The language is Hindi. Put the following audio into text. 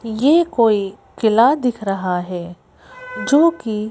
ये कोई किला दिख रहा है जो कि--